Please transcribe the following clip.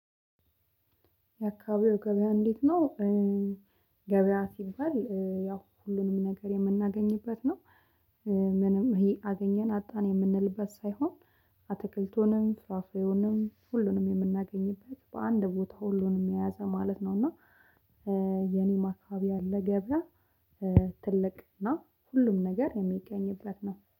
የአካባቢው ገበያ እንዴት ነው? ገበያ ሲባል ያው ሁሉንም ነገር የምናገኝበት ነው። ምንም ይሄ አገኘን አጣን የምንልበት ሳይሆን። አትክልቱንም ፍራፍሬውንም ሁሉንም የምናገኝበት በአንድ ቦታ ሁሉንም የያዘ ማለት ነው። እና የኔ ማስታበያ ለገበያ ትልቅ እና ሁሉም ነገር የሚገኝበት ነው